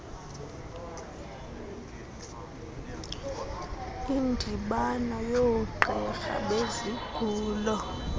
indibano yoogqirha bezigulo